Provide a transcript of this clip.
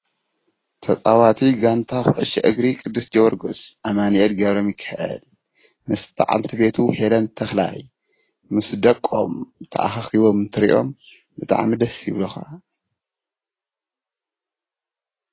ተፃዋቲ ጋንታ ኮዕሶ እግሪ ቅዱስ ጅዎርግስ ኣማኒኤል ገብረሚካኤል ምስ በዓልቲ ቤቱ ሄለን ተክላይ ምስ ደቆም ተኣኻኺቦም እንትሪኦምብጣዕሚ ደስ ይቡልኻ።